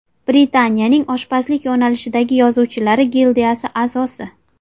Britaniyaning oshpazlik yo‘nalishidagi yozuvchilari gildiyasi a’zosi.